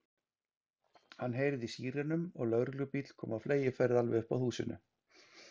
Hann heyrði í sírenum og lögreglubíll kom á fleygiferð alveg upp að húsinu.